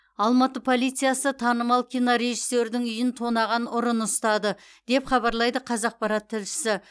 алматы полициясы танымал кинорежиссердің үйін тонаған ұрыны ұстады деп хабарлайды қазақпарат тілшісі